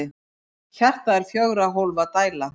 Hjartað er fjögurra hólfa dæla.